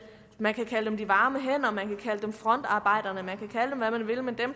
man kan kalde dem de varme hænder man kan kalde dem frontarbejderne man kan kalde dem hvad man vil men dem